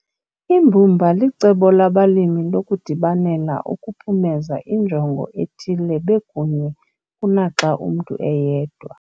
Imbumba licebo labalimi lokudibanela ukuphumeza injongo ethile bekunye kunaxa umntu eyedwa.